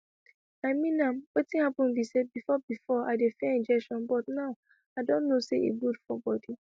i mean am wetin happen be say before before i dey fear injection but now i don know say e good for body